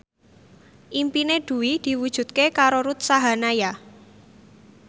impine Dwi diwujudke karo Ruth Sahanaya